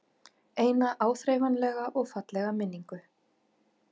Eina áþreifanlega og fallega minningu.